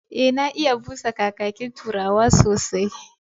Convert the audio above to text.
E, na iya busa kakakin Turawa sosai.